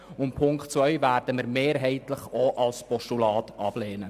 Den Punkt 2 werden wir mehrheitlich auch als Postulat ablehnen.